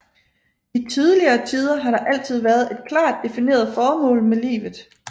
I tidligere tider har der altid været et klart defineret formål med livet